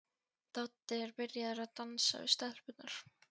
Doddi er byrjaður að dansa við stelpurnar.